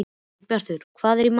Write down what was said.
Sveinbjartur, hvað er í matinn?